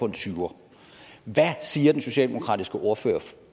en tyver hvad siger den socialdemokratiske ordfører